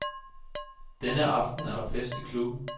Denne aften er der fest i klubben.